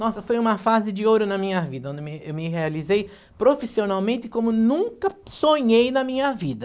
Nossa, foi uma fase de ouro na minha vida, onde eu me me realizei profissionalmente como nunca sonhei na minha vida.